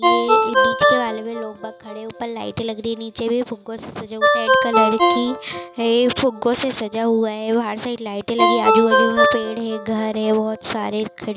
ये बीच के माले में लोग बहुत खड़े है। ऊपर लाइटें लग रही है। नीचे भी फुग्गो से सजा हुआ रेड कलर की है फुग्गो से सजा हुआ है बाहर साइड लाइटें लगी है आजू बाजु में पेड़ है घर है बहुत सारे खिड़की --